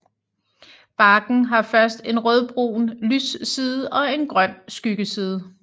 Barken har først en rødbrun lysside og en grøn skyggeside